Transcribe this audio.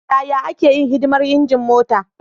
Yaya ake yin hidimar injin mota?